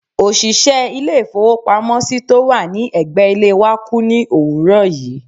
òṣìṣẹ́ ilé-ìfowópamọ́sí tó wà ní ẹ̀gbẹ́ ilé wa kú ní òwúrọ̀ yìí.